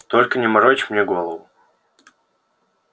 только не морочь мне голову